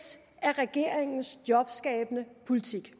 af regeringens jobskabende politik